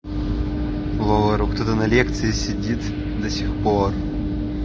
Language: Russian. во ору кто-то на лекции сидит до сих пор